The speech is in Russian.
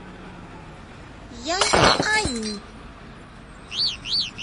яньань